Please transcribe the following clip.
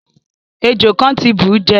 Èjò kan ti búú jẹ